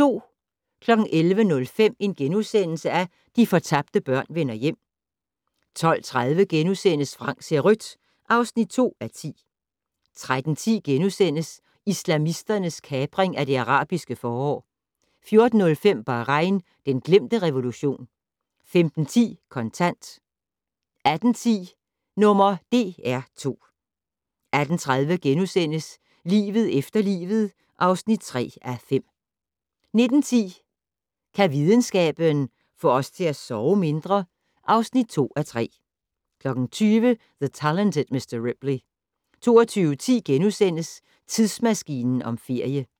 11:05: De fortabte børn vender hjem * 12:30: Frank ser rødt (2:10)* 13:10: Islamisternes kapring af det arabiske forår * 14:05: Bahrain - den glemte revolution 15:10: Kontant 18:10: #DR2 18:30: Livet efter livet (3:5)* 19:10: Kan videnskaben - få os til at sove mindre? (2:3) 20:00: The Talented Mr. Ripley 22:10: Tidsmaskinen om ferie *